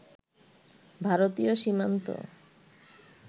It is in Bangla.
ভারতীয় সীমান্ত